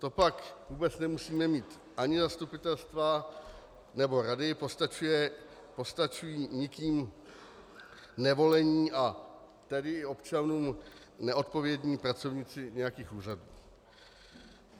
To pak vůbec nemusíme mít ani zastupitelstva nebo rady, postačují nikým nevolení, a tedy občanům neodpovědní pracovníci nějakých úřadů.